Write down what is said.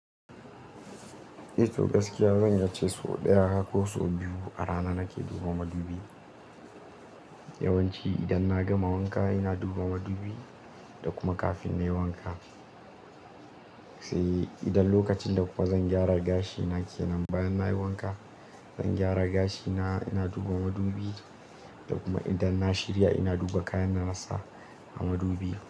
Eh to gaskiya zan iyace so ɗaya ko so biyu a rana nake duba madubi. Yawanci idan na gama wanka ina duba madubi da kuma kafin na yi wanka. Sai idan lokacin da kuma zan gyara gashi na kenan bayan na yi wanka, zan gyara gashi na ina duba madubi. Da kuma idan na shirya ina duba kayan nasa a madubi.